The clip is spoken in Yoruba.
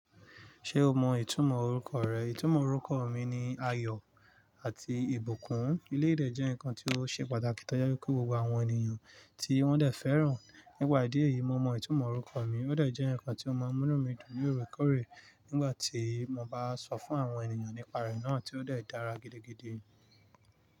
Ṣé o mọ ìtumọ̀ orúkọ rẹ? Ìtumọ̀ orúkọ mi ni ayọ̀ àti ìbùkún. Eleyii dẹ́ jẹ́ nǹkan tí ó ṣe pàtàkì tó je wipe gbogbo àwọn ènìyàn tí wọ́n dẹ̀ fẹ́ràn. Nípa ìdí èyí, mo mọ ìtumọ̀ orúkọ mi, ó dẹ̀ jẹ́ nǹkan tí ó máa ń mú mí dùn lóòrèkóòrè nígbà tí mo bá sọ fún àwọn ènìyàn nípa rẹ̀ náà tí ó dẹ̀ dára gidigidi.